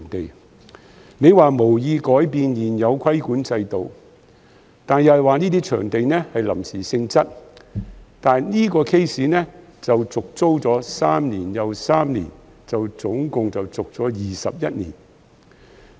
局長說政府無意改變現有規管制度，又說該些市場屬臨時性質，但是，小欖跳蚤市場這個 case， 是續租了三年又三年，總共21年。